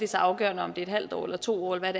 så afgørende om det er en halv år eller to år eller